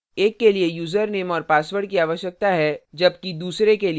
एक के लिए username और password की आवश्यकता है जबकि दूसरे के लिए नहीं